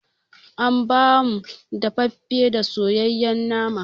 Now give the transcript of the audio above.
An ba mu daffafe da soyayen nama